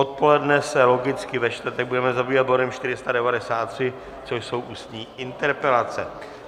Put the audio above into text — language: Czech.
Odpoledne se logicky ve čtvrtek budeme zabývat bodem 493, což jsou ústní interpelace.